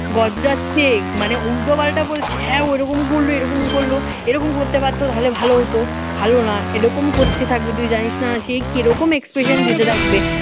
গজরাছে মানে উল্টোপাল্টা বলছে হ্যাঁ ওরকম করল এরকম করল এরকম করতে পারত তাহলে ভালো হতো ভালো না এরকম করতে থাকবে তুই জানিস না সে কিরকম expression দিতে থাকবে